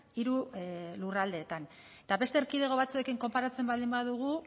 hiru lurraldeetan eta beste erkidego batzuekin konparatzen baldin badugu